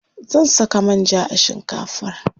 Zan saka manja a shinkafar.